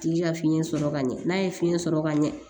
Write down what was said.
Tigi ka fiɲɛ sɔrɔ ka ɲɛ n'a ye fiɲɛ sɔrɔ ka ɲɛ